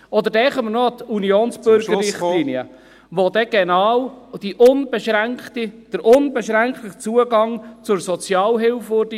Denken wir noch an die Unionsbürgerrichtlinie, welche genau zum uneingeschränkten Zugang zur Sozialhilfe führte.